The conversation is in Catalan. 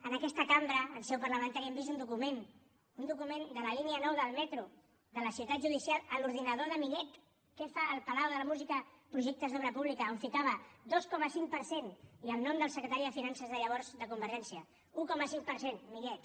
en aquesta cambra en seu parlamentària hem vist un document un document de la línia nou del metro de la ciutat judicial a l’ordinador de millet què fa el palau de la música en projectes d’obra pública on ficava dos coma cinc per cent i el nom del secretari de finances de llavors de convergència un coma cinc per cent millet